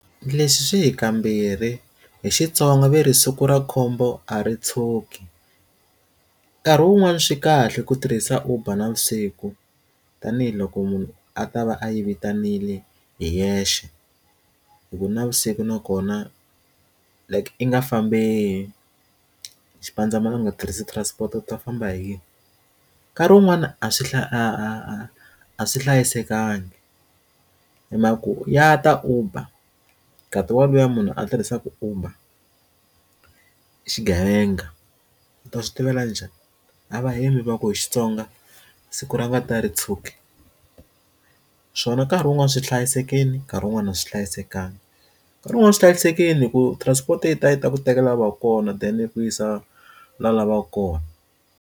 Leswi swi hi kambirhi hi Xitsonga va ri siku ra khombo a ri tshuki nkarhi wun'wani swi kahle ku tirhisa uber navusiku tanihiloko munhu a ta va a yi vitanile hi yexe hi ku navusiku nakona like i nga fambeli xipandzamananga tirhisa transport-to u ta famba hi yini nkarhi wun'wani a swi a swi hlayisekanga hi maka ku ya ta uber ngati wa luya munhu a tirhisaka uber ku xigevenga u ta switivela njhani a va hembi va ku hi xitsonga siku ra ngati a ri tshuki swona nkarhi wun'wani swi hlayisekile nkarhi wun'wani a swi hlayisekanga nkarhi wun'wani swi hlayisekile ku transport a yi ta ku tekela va kona then yi ku yisa laha u lavaka kona.